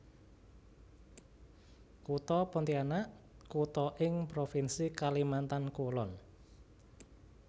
Kutha Pontianak kutha ing Provinsi Kalimantan Kulon